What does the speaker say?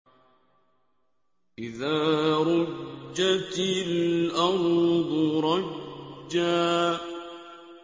إِذَا رُجَّتِ الْأَرْضُ رَجًّا